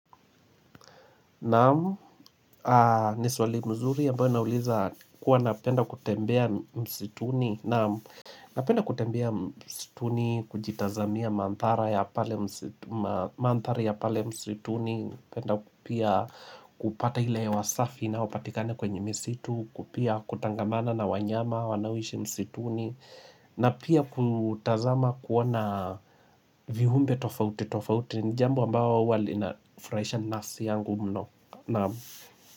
Naam, ni swali mzuri ambao nauliza kuwa napenda kutembea msituni Naam, napenda kutembea msituni, kujitazamia mandhari ya pale msituni penda pia kupata hewa safi inayopatikana kwenye msitu pia kutangamana na wanyama, wanaoishi msituni na pia kutazama kuona viumbe tofauti ni jambo ambao huwa linafurahishawa yangu mno Naam.